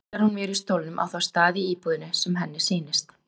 Þá trillar hún mér í stólnum á þá staði í íbúðinni sem henni sýnist.